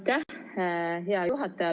Aitäh, hea juhataja!